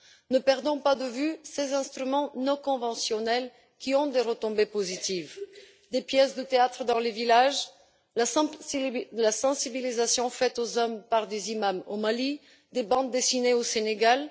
Ne perdons pas de vue ces instruments non conventionnels, qui ont des retombées positives des pièces de théâtre dans les villages, la sensibilisation menée auprès des hommes par des imams au Mali, des bandes dessinées au Sénégal.